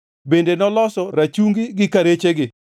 bende noloso rachungi gi karechegi;